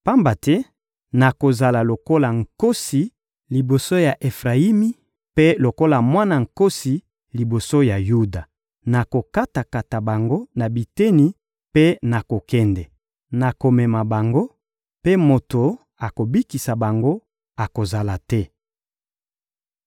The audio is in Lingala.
Pamba te nakozala lokola nkosi liboso ya Efrayimi, mpe lokola mwana nkosi liboso ya Yuda. Nakokata-kata bango na biteni mpe nakokende, nakomema bango, mpe moto akobikisa bango akozala te.